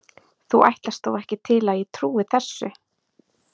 Þú ætlast þó ekki til að ég trúi þessu.